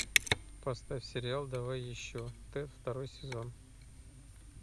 поставь сериал давай еще т второй сезон